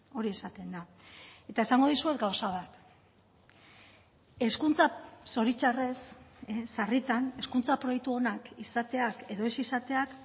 hori esaten da eta esango dizuet gauza bat hezkuntza zoritxarrez sarritan hezkuntza proiektu onak izateak edo ez izateak